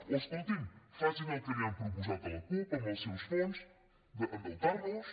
o escolti’m facin el que li han proposat a la cup amb els seus fons endeutar nos